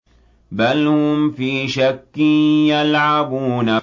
بَلْ هُمْ فِي شَكٍّ يَلْعَبُونَ